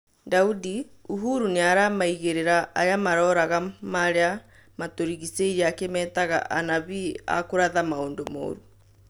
Daudi: Uhuru nĩaramaigĩrĩra arĩa maroraga maria matũrigĩcĩirie akĩmetaga "anabii a kũratha maundu morũ"